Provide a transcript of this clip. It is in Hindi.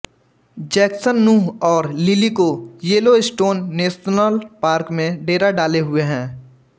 जैक्सन नूह और लिली को येलोस्टोन नेशनल पार्क में डेरा डाले हुए है